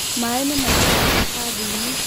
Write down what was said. maĩ nĩmaitĩka karatathiinĩ